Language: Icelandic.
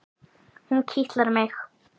Hún kitlar mig!